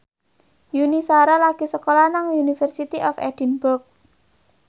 Yuni Shara lagi sekolah nang University of Edinburgh